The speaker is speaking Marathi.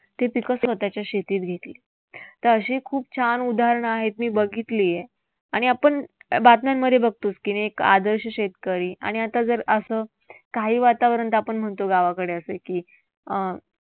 ते पिकं त्यानं त्याच्या शेतीत घेतली. तर अशी खूप छान उदाहरणं आहेत मी बघितलीय. आणि आपण बातम्यांमध्ये बघतोच की रे एक आदर्श शेतकरी आणि आता जर असं काही वातावरण आपण म्हणतो गावाकडं असं की अं